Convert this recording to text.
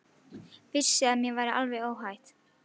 Vissi að mér var alveg óhætt.